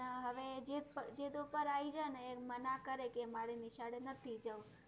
એનાં હવે જીદ, જીદ ઉપર આઈ ગયા ને એ મના કરે કે મારે નિશાળે નથી જવું